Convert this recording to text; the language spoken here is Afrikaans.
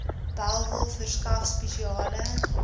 bellville verskaf spesiale